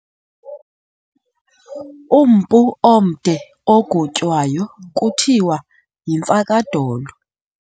Umpu omde ogotywayo kuthiwa yimfakadolo.